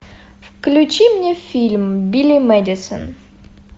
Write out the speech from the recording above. включи мне фильм билли мэдисон